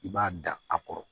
I b'a da a kɔrɔ